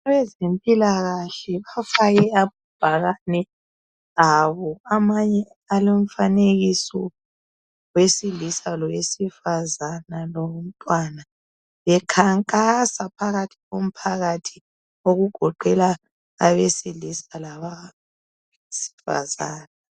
Abezempilakahle bafake amabhakane abo , amanye alomfanekiso wesilisa lowesifazane lomtwana bekhankasa phakathi ko mphakathi okugoqela abesilisa labasifazane